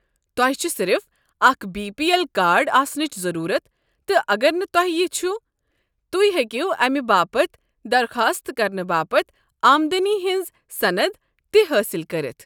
تۄہہ چھوٕ صرف اكھ بی پی اٮ۪ل کارڈ آسنٕچ ضٔروٗرت تہٕ اگر نہٕ تۄہہ یہ چھُ، تُہۍ ہیٚکو امہِ باپت درخاست کرنہٕ باپتھ آمدنی ہٕنٛز صند تِہ حٲصِل کٔرِتھ۔